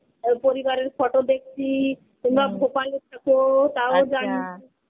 পরিবারের photo দেখছি. তোমরা ভোপালে থাকো তাও জানি.